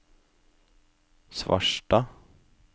Svarstad